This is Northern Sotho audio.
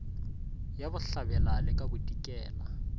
ya bohlabela le ka bodikela